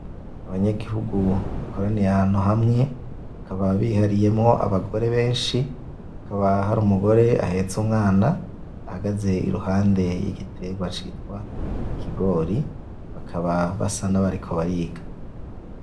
Abanyagihugu bakoraniye ahantu hamwe bakaba bihariyemwo abagore beshi hakaba hari umugore ahetse umwana ahagaze iruhande yigiterwa citwa ikigori bakaba basa nabariko bariga.